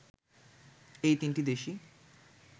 এই তিনটি দেশই